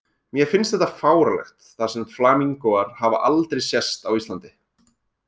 Mér finnst þetta fáránlegt þar sem flamingóar hafa aldrei sést á Íslandi